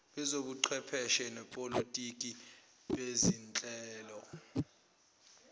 bezobuchwepheshe nezepolitiki bezinhlelo